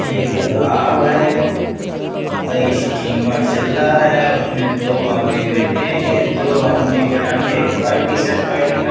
एक तालाब है और स्टीमर चल रहा है। उसमें दो आदमी बैठे हैं। दो आदमी का रंग एक व्हाइट टी-शर्ट पहन --